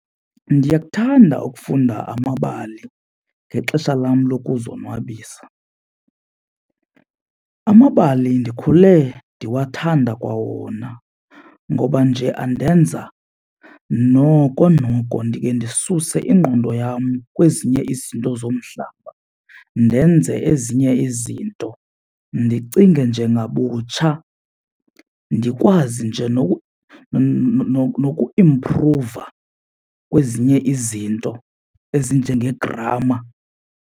Ndiyakuthanda ukufunda amabali ngexesha lam lokuzonwabisa. Amabali ndikhule ndiwathanda kwawona ngoba nje andenza noko noko ndike ndisuse ingqondo yam kwezinye izinto zomhlaba. Ndenze ezinye izinto ndicinge nje ngabutsha ndikwazi nje nokuimpruva kwezinye izinto ezinjenge-grammar.